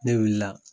Ne wulila